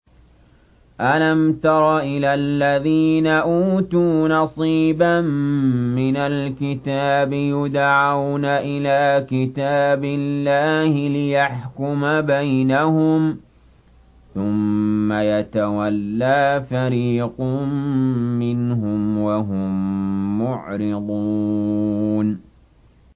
أَلَمْ تَرَ إِلَى الَّذِينَ أُوتُوا نَصِيبًا مِّنَ الْكِتَابِ يُدْعَوْنَ إِلَىٰ كِتَابِ اللَّهِ لِيَحْكُمَ بَيْنَهُمْ ثُمَّ يَتَوَلَّىٰ فَرِيقٌ مِّنْهُمْ وَهُم مُّعْرِضُونَ